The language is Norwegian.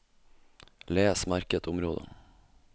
Les merket område